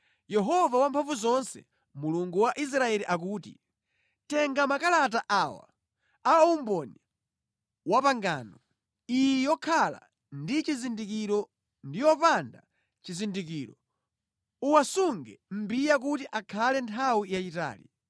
‘Yehova Wamphamvuzonse, Mulungu wa Israeli akuti: Tenga makalata awa a umboni wapangano, iyi yokhala ndi chizindikiro ndi yopanda chizindikiro, uwasunge mʼmbiya kuti akhale nthawi yayitali.